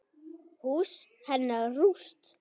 Hús hennar rúst.